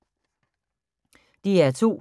DR2